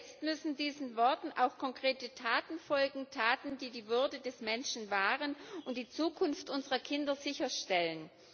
Jetzt müssen diesen Worten auch konkrete Taten folgen, Taten, die die Würde des Menschen wahren und die Zukunft unserer Kinder sicherstellen.